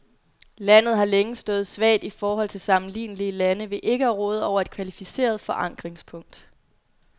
Landet har længe stået svagt i forhold til sammenlignelige lande ved ikke at råde over et kvalificeret forankringspunkt.